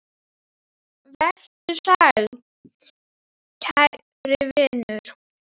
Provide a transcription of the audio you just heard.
Vertu sæll, kæri vinur.